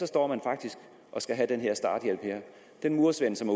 står faktisk og skal have den her starthjælp den murersvend som